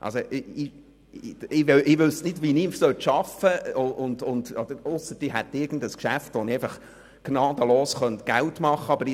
Ich wüsste nicht, wie ich für einen solchen Lohn arbeiten müsste, ausser ich hätte ein Geschäft, mit welchem ich gnadenlos Geld scheffeln könnte.